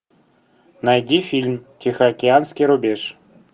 найди фильм тихоокеанский рубеж